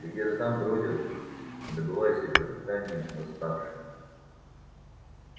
и где-то там бродят добывая себе пропитание восставшие